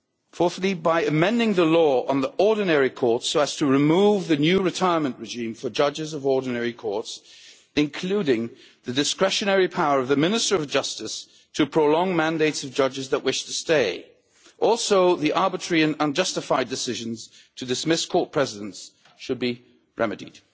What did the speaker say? Fourthly, they should amend the law on the ordinary court so as to remove the new retirement regime for judges of ordinary courts, including the discretionary power of the Minister of Justice to prolong mandates of judges that wish to stay. Also, the arbitrary and unjustified decisions to dismiss court presidents should be remedied.